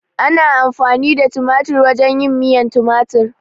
Ana amfani da tumatir wajen yin miyan tumatir